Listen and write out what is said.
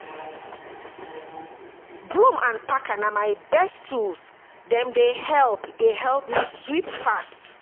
Broom and packer na my best tools, dem dey help dey help me sweep fast.